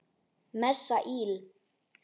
Messa íl.